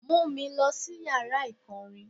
Mú mi lọ sí yàrá ìkọrin.